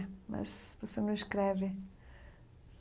É, mas você não escreve.